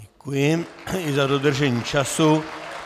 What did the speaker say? Děkuji i za dodržení času.